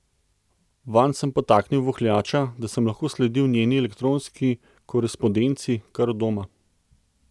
Vanj sem podtaknil vohljača, da sem lahko sledil njeni elektronski korespondenci kar od doma.